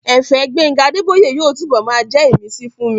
Ẹ̀fẹ̀ Gbénga Adébóyè yóò túnbọ̀ máa jẹ́ ìmísí fún mi